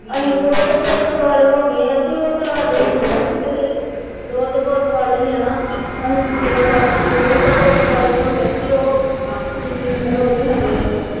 ਅਸੀਂ ਦੋਹਤ ਪੋਤ ਵਾਲੇ ਹੋ ਗਏ ਹਾਂ ਅਤੇ ਉਹ ਤਾਂ ਸਾਡੇ ਹੁੰਦਿਆਂ ਹੀ ਬਈ ਦੋਹਤ ਪੋਤ ਵਾਲੀ ਹੈ ਨਾ, ਅਸੀਂ ਮਗਰੋਂ ਲੱਗ ਕੇ ਦੋਹਤ ਪੋਤ ਵਾਲੇ ਹੋ ਗਏ ਅਤੇ ਉਹ ਕਿੰਨੀ ਉਮਰ ਉਹਦੀ ਹੈ ਨਾ,